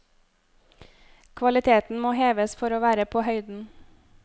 Kvaliteten må heves for å være på høyden.